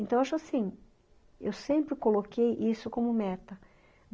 Então, acho assim, eu sempre coloquei isso como meta.